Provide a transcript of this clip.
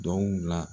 Donw la